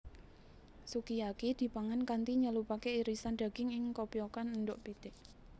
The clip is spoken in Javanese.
Sukiyaki dipangan kanthi nyelupake irisan daging ing kopyokan endhog pitik